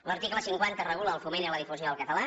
l’article cinquanta regula el foment i la difusió del català